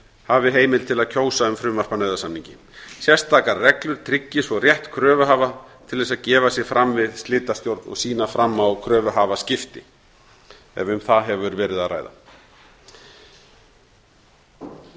hafi heimild til að kjósa um frumvarp að nauðasamningi sérstakar reglur tryggi svo rétt kröfuhafa til þess að gefa sig fram við slitastjórn og sýna fram á kröfuhafaskipti ef um það hefur verið að ræða